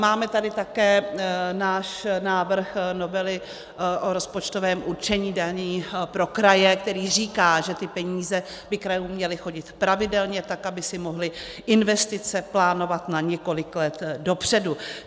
Máme tady také náš návrh novely o rozpočtovém určení daní pro kraje, který říká, že ty peníze by krajům měly chodit pravidelně, tak aby si mohly investice plánovat na několik let dopředu.